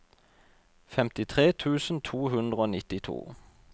femtitre tusen to hundre og nittito